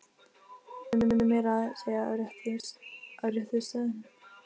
Kímdi meira að segja á réttu stöðunum.